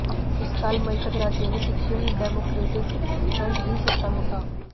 इस साल मई तक राज्य में सिक्किम डेमोक्रेटिक फ्रंट ही सत्ता में था